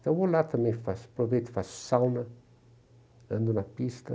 Então eu vou lá também, faço, aproveito, faço sauna, ando na pista.